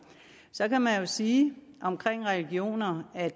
så kan man jo sige om religioner at